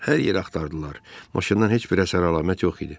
Hər yeri axtardılar, maşından heç bir əsər-əlamət yox idi.